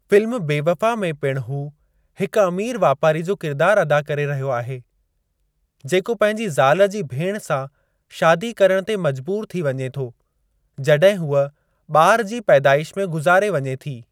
Film Bewafa में पिणु हू हिक अमीर वापारी जो किरदार अदा करे रहियो आहे। जेको पंहिंजी ज़ाल जी भेण सां शादी करणु ते मजबूरु थी वञे थो जॾहिं हूअ ॿार जी पैदाइश में गुज़ारे वञे थी।